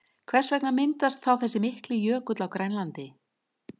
Hvers vegna myndaðist þá þessi mikli jökull á Grænlandi?